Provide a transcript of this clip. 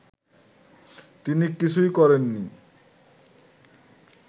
তিনি কিছুই করেননি